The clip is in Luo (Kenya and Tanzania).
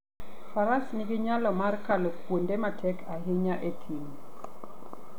Faras nigi nyalo mar kalo kuonde matek ahinya e thim.